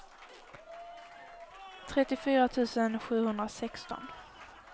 trettiofyra tusen sjuhundrasexton